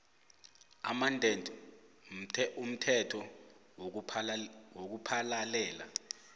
amended umthetho wokuphalalela